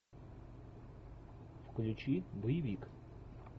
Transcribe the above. включи боевик